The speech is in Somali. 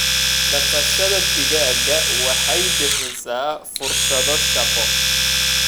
Dhaqashada digaaga waxay bixisaa fursado shaqo.